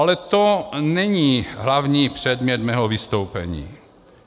Ale to není hlavní předmět mého vystoupení.